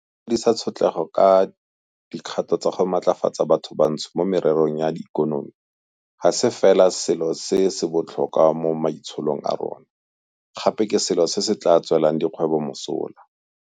Go fedisa tshotlego ka dikgato tsa go matlafatsa bathobantsho mo mererong ya ikonomi ga se fela selo se se botlhokwa mo maitsholong a rona, gape ke selo se se tla tswelang dikgwebo mosola.